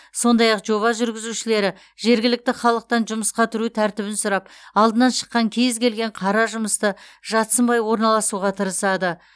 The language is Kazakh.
сондай ақ жоба жүргізушілері жергілікті халықтан жұмысқа тұру тәртібін сұрап алдынан шыққан кез келген қара жұмысты жатсынбай орналасуға тырысады